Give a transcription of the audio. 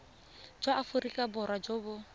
jwa aforika borwa jo bo